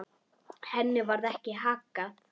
Henni varð ekki haggað.